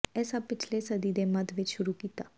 ਇਹ ਸਭ ਪਿਛਲੇ ਸਦੀ ਦੇ ਮੱਧ ਵਿਚ ਸ਼ੁਰੂ ਕੀਤਾ